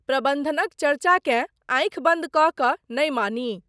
प्रबन्धनक चर्चाकेँ आँखि बन्द कऽ कऽ नहि मानी।